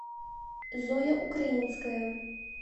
зоя украинская